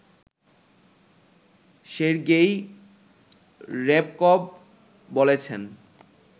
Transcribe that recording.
Sergei Ryabkov বলেছেন